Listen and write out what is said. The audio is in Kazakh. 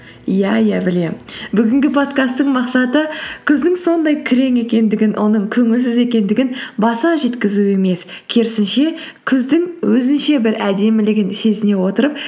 иә иә білемін бүгінгі подкасттың мақсаты күздің сондай күрең екендігін оның көңілсіз екендігін баса жеткізу емес керісінше күздің өзінше бір әдемілігін сезіне отырып